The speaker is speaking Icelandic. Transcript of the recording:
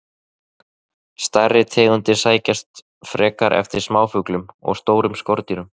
Stærri tegundir sækjast frekar eftir smáfuglum og stórum skordýrum.